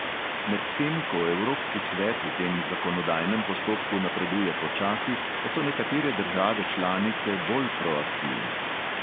Medtem ko evropski svet v tem zakonodajnem postopku napreduje počasi, pa so nekatere države članice bolj proaktivne.